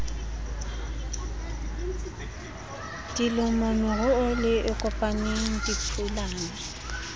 dilomo meru e kopaneng diphulana